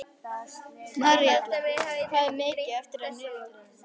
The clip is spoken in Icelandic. Maríella, hvað er mikið eftir af niðurteljaranum?